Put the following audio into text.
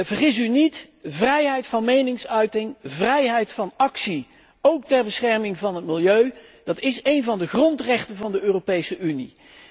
Vergis u niet, vrijheid van meningsuiting, vrijheid van actie, óók ter bescherming van het milieu, is een van de grondrechten van de Europese Unie.